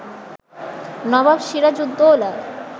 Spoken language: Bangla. নবাব সিরাজউদ্দৌলা